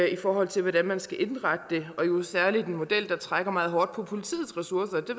i forhold til hvordan man skal indrette det og jo særlig en model der trækker meget hårdt på politiets ressourcer det